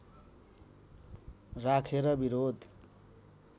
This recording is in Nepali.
राखेर विरोध